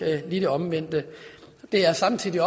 lige det omvendte samtidig